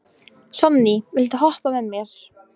Sonný, viltu hoppa með mér?